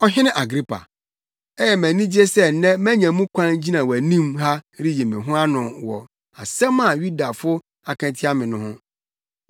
“Ɔhene Agripa! Ɛyɛ me anigye sɛ nnɛ manya mu kwan gyina wʼanim ha reyi me ho ano wɔ asɛm a Yudafo aka atia me no ho.